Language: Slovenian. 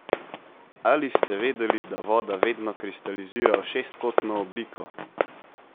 Ali ste vedeli, da voda vedno kristalizira v šestkotno obliko?